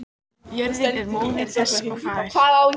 Jörðin er móðir þess og faðir.